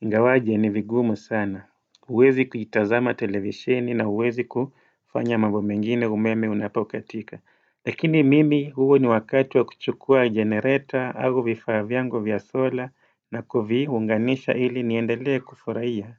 ingawaje ni vigumu sana huwezi kuitazama televisheni na huwezi kufanya mambo mengine umeme unapokatika Lakini mimi huu ni wakati wa kuchukua generator au vifaa vyangu vya solar na kuvinganisha ili niendelea kufuraia.